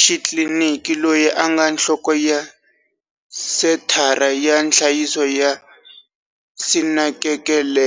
xitliliniki loyi a nga nhloko ya Senthara ya Nhlayiso ya Sinakekelwe.